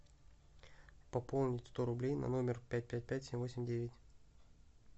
пополнить сто рублей на номер пять пять пять семь восемь девять